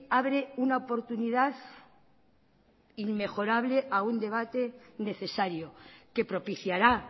abre una oportunidad inmejorable a un debate necesario que propiciará